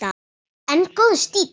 En góður stíll!